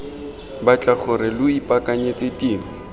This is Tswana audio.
batla gore lo ipaakanyetse tiro